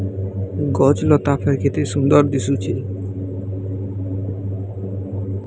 ଗଛ ଲତା କେତେ ସୁନ୍ଦର୍ ଦିଶୁଚେ।